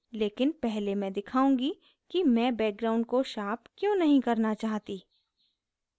लेकिन पहले मैं दिखाउंगी कि मैं background को sharpen क्यों नहीं करना चाहती